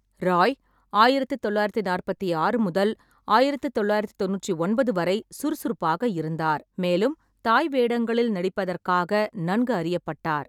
ராய் ஆயிரத்து தொள்ளாயிரத்தி நாற்பத்தி ஆறு முதல் ஆயிரத்து தொள்ளாயிரத்தி தொண்ணூற்றி ஒன்பது வரை சுறுசுறுப்பாக இருந்தார், மேலும் தாய் வேடங்களில் நடிப்பதற்காக நன்கு அறியப்பட்டார்.